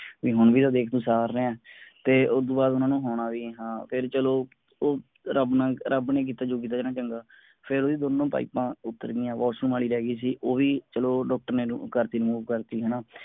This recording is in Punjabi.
ਵੀ ਹੁਣ ਵੀ ਤਾਂ ਦੇਖ ਤੂੰ ਸਾਰ ਰਿਹਾ ਹੈ ਤੇ ਓਦੋਂ ਬਾਅਦ ਓਹਨਾ ਨੂੰ ਹੋਣਾ ਵੀ ਹਾਂ, ਫੇਰ ਚਲੋ ਉਹ ਰੱਬ ਰੱਬ ਨੇ ਕੀਤਾ ਜੋ ਕਿੱਤਾ ਚੰਗਾ ਫੇਰ ਓਹਦੀ ਦੋਨੋ ਪਾਇਪਾਂ ਉੱਤਰ ਗਈਆਂ washroom ਉਹ ਵੀ ਚਲੋ ਡਾਕਟਰ ਨੇ ਕਰਤੀ remove ਕਰਤੀ ਹੈਨਾ